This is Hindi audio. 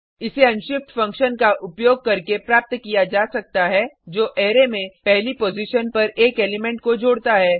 इसे अनशिफ्ट फंक्शन का उपयोग करके प्राप्त किया जा सकता है जो अरै में पहली पॉजिशन पर एक एलिमेंट को जोड़ता है